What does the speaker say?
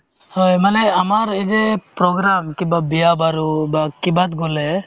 হয়, মানে আমাৰ এই যে program কিবা বিয়া-বাৰু বা কিবাত গ'লে